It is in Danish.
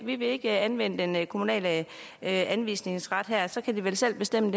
vi vil ikke anvende den kommunale anvisningsret her så kan de vel selv bestemme